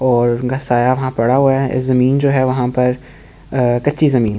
और उनका साया वहाँ पड़ा हुआ है इस जमीन जो है वहाँ पर अ कच्ची जमीन --